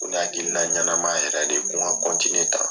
Ko ni ye hakilila ɲɛnama yɛrɛ de ye ko n ka kɔntiniye tan